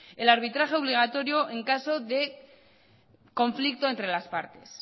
el arbitraje obligatorio en caso de conflicto entre las partes